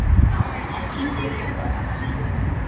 Engill, kanntu að spila lagið „Í hjarta mér“?